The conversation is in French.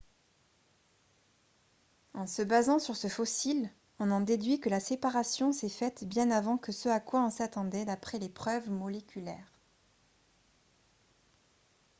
« en se basant sur ce fossile on en déduit que la séparation s’est faite bien avant que ce à quoi on s’attendait d’après les preuves moléculaires